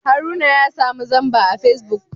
Haruna ya samu zamba a Facebook